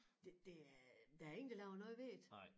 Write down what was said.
Det der er der ingen der laver noget ved det